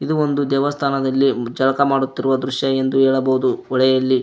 ಇದು ಒಂದು ದೇವಸ್ಥಾನದಲ್ಲಿ ಜಲಕ ಮಾಡುತ್ತಿರುವ ದೃಶ್ಯ ಎಂದು ಹೇಳಬಹುದು ಹೊಳೆಯಲ್ಲಿ.